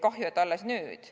Kahju, et alles nüüd.